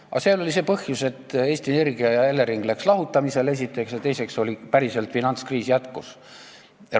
Aga seal oli see põhjus, et Eesti Energia ja Elering läksid lahutamisele, esiteks, ja teiseks Euroopa finantskriis jätkus.